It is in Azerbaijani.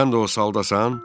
Sən də o saldasan?